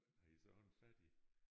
Havde I så også en fatti?